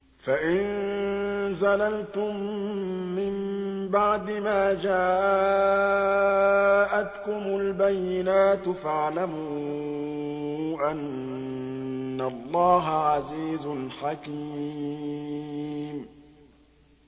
فَإِن زَلَلْتُم مِّن بَعْدِ مَا جَاءَتْكُمُ الْبَيِّنَاتُ فَاعْلَمُوا أَنَّ اللَّهَ عَزِيزٌ حَكِيمٌ